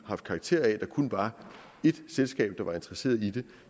haft karakter af at der kun var ét selskab der var interesseret i det